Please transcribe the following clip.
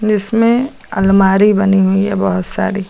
जिसमे अलमारी बनी हुई है बहुत सारी।